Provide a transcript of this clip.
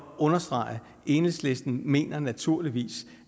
understrege enhedslisten mener naturligvis